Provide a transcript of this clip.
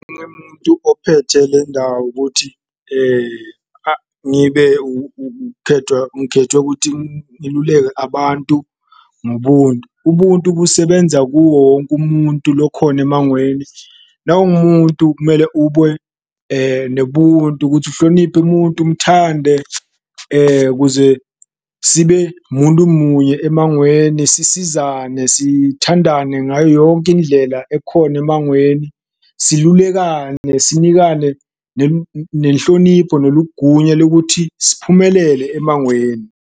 Ophethe le ndawo ukuthi ngibe ngikhethwe kuthi ngiluleke abantu ngobuntu, ubuntu busebenza kuwo wonke umuntu lokhona emangweni nangu umuntu kumele ube nebuntu, ukuthi uhloniphe muntu umthande kuze sibe muntu munye emangweni. Sisizane, sithandane ngayo yonke indlela ekhona emangweni, silulekane, sinikane nenhlonipho neligunywa lekuthi siphumelele emangweni.